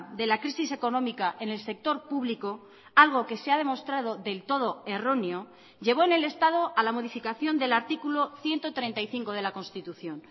de la crisis económica en el sector público algo que se ha demostrado del todo erróneo llevó en el estado a la modificación del artículo ciento treinta y cinco de la constitución